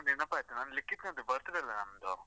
ನೆನಪಾಯ್ತು, ನಮ್ಮ್ ಲಿಕಿತ್ನದ್ದು birthday ಅಲ್ವಾ ನಮ್ದು.